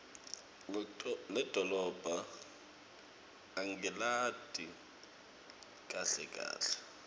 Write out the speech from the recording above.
lidolobha angilati kahle kahle